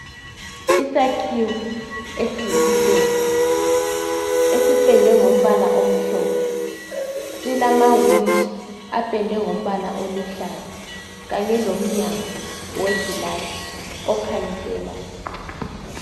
Isakhiwo esiyisitezi esipendwe ngombala omhlophe silamawindi apendwe ngombala oluhlaza kanye lomnyango wegilazi okhanyiselayo